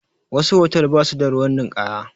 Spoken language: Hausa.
Wasu hotal ba su da ruwan ninkaya